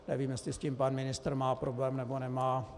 Nevím, jestli s tím pan ministr má problém, nebo nemá.